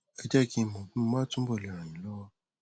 ẹ jẹ kí n mọ bí mo bá túbọ le ràn yín lọwọ